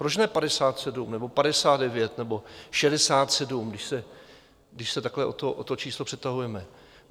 Proč ne 57 nebo 59 nebo 67, když se takhle o to číslo přetahujeme?